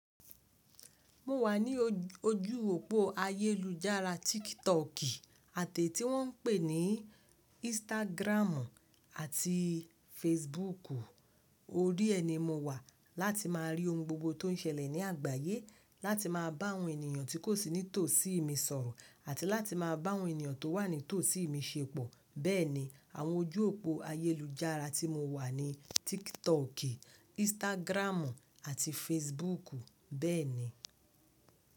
Mo wà ní ojú òpó ayélujára TikTok àti èyí tí wọ́n ń pè ní Instagram àti Facebook. Orí ẹ ni mo wà láti má a rí ohun gbogbo tó ń ṣẹlẹ̀ ní àgbáyé, láti má a bá àwọn ènìyàn tí kò sí ní tòsí mi sọ̀rọ̀ àti láti má a bá àwọn ènìyàn tó wà ní tòsí mi ṣepọ. Bẹ́ẹ̀ni, àwọn ojú òpó ayélujára tí mo wà ni TikTok, Instagram àti Facebook bẹ́ẹ̀ni.